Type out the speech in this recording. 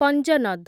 ପଞ୍ଜନଦ୍